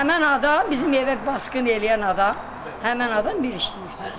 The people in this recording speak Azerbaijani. Həmin adam bizim evə basqın eləyən adam, həmin adam bir işləyibdir.